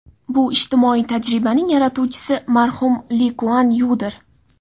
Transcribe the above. Bu ijtimoiy tajribaning yaratuvchisi marhum Li Kuan Yudir.